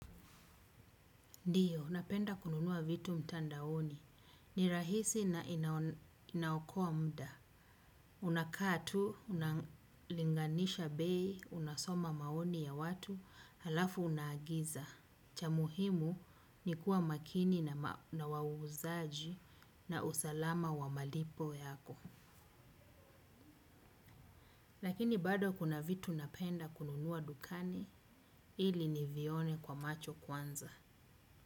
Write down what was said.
Ndiyo, napenda kununuwa vitu mtandaoni. Ni rahisi na inaokoa muda. Unakaa tu unalinganisha bei unasoma maoni ya watu alafu unaagiza. Cha muhimu ni kuwa makini na wauzaji na usalama wa malipo yako. Lakini bado kuna vitu napenda kununuwa dukani, ili ni vione kwa macho kwanza.